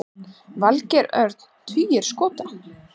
Valgeir Örn: Tugir skota?